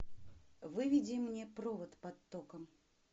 выведи мне провод под током